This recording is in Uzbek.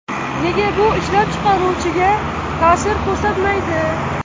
Nega bu ishlab chiqaruvchiga ta’sir ko‘rsatmaydi?